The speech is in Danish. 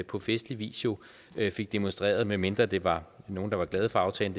på festlig vis jo fik demonstreret medmindre det var nogle der var glade for aftalen